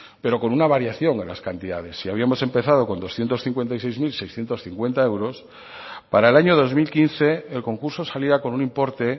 pero con una variación a las cantidades si habíamos empezado con doscientos cincuenta y seis mil seiscientos cincuenta euros para el año dos mil quince el concurso salía con un importe